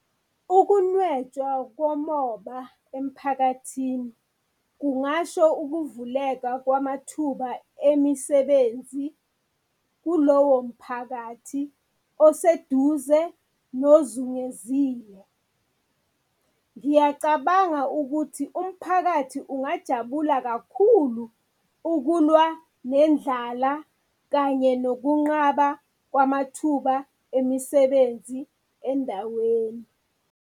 Ukunwetshwa komoba emphakathini, kungasho ukuvuleka kwamathuba emisebenzi kulowo phakathi oseduze nozungezile. Ngiyacabanga ukuthi umphakathi ungajabula kakhulu ukulwa nendlala kanye nokunqaba kwamathuba emisebenzi endaweni.